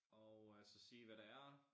Og øh så sige hvad det er